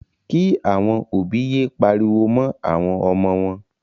Kí. àwọn òbí yé pariwo mọ́ àwọn ọmọ wọn.